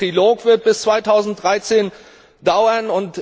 Auch der Trilog wird bis 2013 dauern.